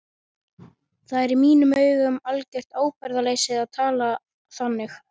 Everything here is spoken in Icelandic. Það er í mínum augum algjört ábyrgðarleysi að tala þannig.